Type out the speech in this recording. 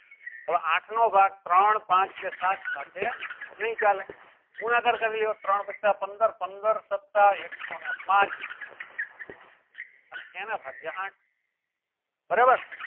હવે આઠ નો ભાગ ત્રણ પાંચ કે સાત સાથે નહીં ચાલે ગુણાકાર કરી લ્યો ત્રણ પાચા પંદર પંદર સત્તા એકસો ને પાચ અને એના ભાગ્ય આઠ બરાબર